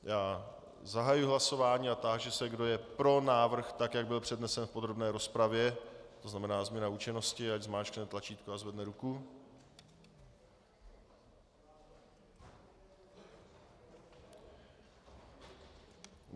Já zahajuji hlasování a táži se, kdo je pro návrh tak, jak byl přednesen v podrobné rozpravě, to znamená změna účinnosti, ať zmáčkne tlačítko a zvedne ruku.